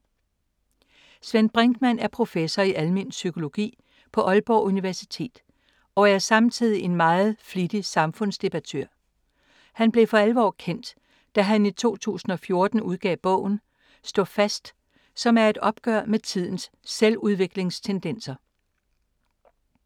Svend Brinkmann er professor i almen psykologi på Aalborg Universitet og er samtidig en meget flittig samfundsdebattør. Han blev for alvor kendt, da han i 2014 udgav bogen Stå fast, som er et opgør med tidens selvudviklingstendenser.